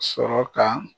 Sɔrɔ ka